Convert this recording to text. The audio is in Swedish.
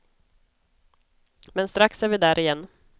Men strax är vi där igen.